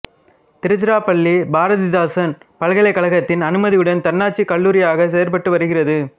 திருச்சிராப்பள்ளி பாரதிதாசன் பல்கலைக்கழகத்தின் அனுமதியுடன் தன்னாட்சி கல்லூரியாக செயற்பட்டு வருகிறது